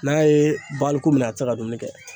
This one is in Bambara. N'a ye baluko minɛ a ti se ka dumuni kɛ.